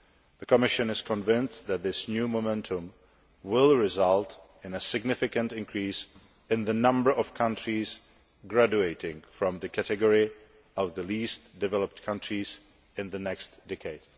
The Commission is convinced that this new momentum will result in a significant increase in the number of countries graduating from the category of the least developed countries in the next decade.